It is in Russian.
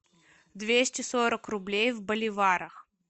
двести сорок рублей в боливарах